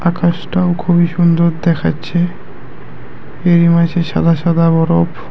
আকাশটাও খুবই সুন্দর দেখাচ্ছে এরই মাঝে সাদা সাদা বরফ।